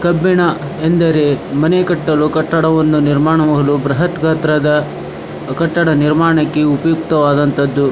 ಕಬ್ಬಿಣ ಎಂದರೆ ಮನೆ ಕಟ್ಟಲು ಕಟ್ಟಡವನ್ನು ನಿರ್ಮಾಣ ಮಾಡಲು ಬ್ರಹತ್ ಗಾತ್ರದ ಕಟ್ಟಡ ನಿರ್ಮಾಣಕ್ಕೆ ಉಪಯುಕ್ತವಾದಂತಹದ್ದು.